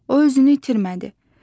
O özünü itirmədi.